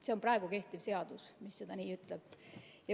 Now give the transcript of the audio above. See on kehtiv seadus, mis nii ütleb.